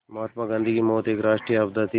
महात्मा गांधी की मौत एक राष्ट्रीय आपदा थी